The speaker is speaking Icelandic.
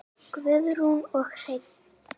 Guðrún og Hreinn.